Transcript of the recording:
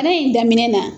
Bana in daminɛ na